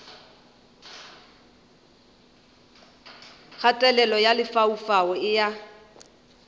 kgatelelo ya lefaufau e a